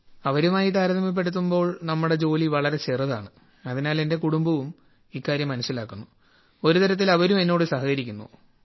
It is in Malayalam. അവരുമായി താരതമ്യപ്പെടുത്തുമ്പോൾ നമ്മുടെ ജോലി വളരെ ചെറുതാണ് അതിനാൽ എന്റെ കുടുംബവും ഇക്കാര്യം മനസിലാക്കുന്നു ഒരുതരത്തിൽ അവരും എന്നോട് സഹകരിക്കുന്നു